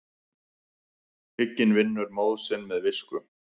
Hygginn vinnur móð sinn með visku.